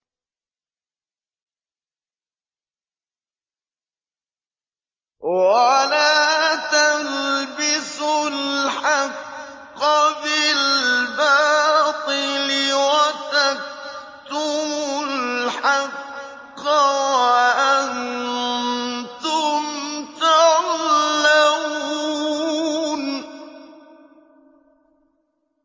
وَلَا تَلْبِسُوا الْحَقَّ بِالْبَاطِلِ وَتَكْتُمُوا الْحَقَّ وَأَنتُمْ تَعْلَمُونَ